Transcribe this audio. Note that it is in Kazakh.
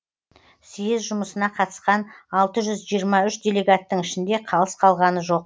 съез жұмысына қатысқан алты жүз жиырма үш делегаттың ішінде қалыс қалғаны жоқ